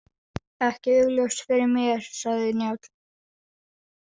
Ekki augljóst fyrir mér, sagði Njáll.